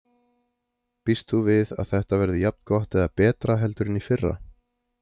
Býst þú við að þetta verði jafn gott eða betra heldur en í fyrra?